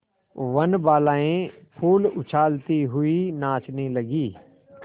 वनबालाएँ फूल उछालती हुई नाचने लगी